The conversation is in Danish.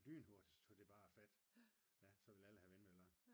lynhurtigt så tog det bare fat. så ville alle have vindmøller